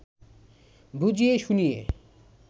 বুঝিয়ে শুনিয়ে